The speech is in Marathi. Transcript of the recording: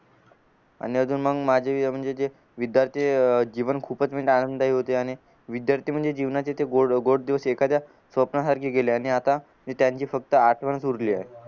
आणि अजून मंग माझे म्हणजे जे विद्यार्थी अह जीवन मी खूप आनंदाई होते आणि विद्यार्थी म्हणजे जीवनाचे ते गोड गोड दिवस एखाद्या स्वप्नासारखे गेले आणि आता ते त्यांची फक्त आठवण उरलीये